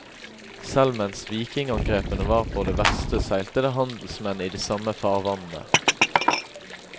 Selv mens vikingangrepene var på det verste seilte det handelsmenn i de samme farvannene.